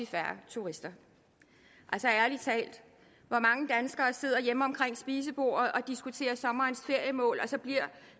færre turister altså ærlig talt hvor mange danskere sidder hjemme omkring spisebordet og diskuterer sommerens feriemål og så bliver